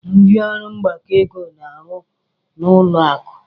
Ndị ọrụ mgbakọ ego na-arụ n'ụlọ akụ.